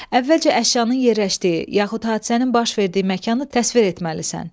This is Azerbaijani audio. Əvvəlcə əşyanın yerləşdiyi yaxud hadisənin baş verdiyi məkanı təsvir etməlisən.